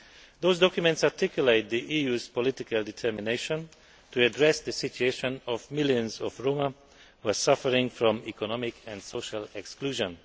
Those documents articulate the EU's political determination to address the situation of millions of Roma who are suffering from economic and social exclusion.